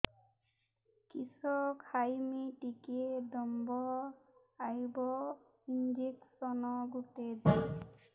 କିସ ଖାଇମି ଟିକେ ଦମ୍ଭ ଆଇବ ଇଞ୍ଜେକସନ ଗୁଟେ ଦେ